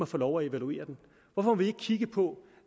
få lov at evaluere den hvorfor må vi ikke kigge på